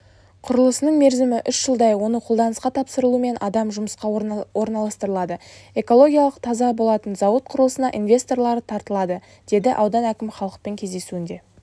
құрылысының мерзімі үш жылдай оны қолданысқа тапсырылуымен адам жұмысқа орналастырылады экологиялық таза болатын зауыт құрылысына инвесторлары тартылады деді аудан әкіміхалықпен кездесуінде